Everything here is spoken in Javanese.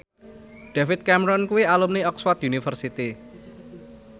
David Cameron kuwi alumni Oxford university